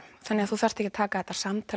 þannig að þú þarft ekki að taka þetta samtal